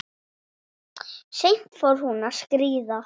Seint fór hún að skríða.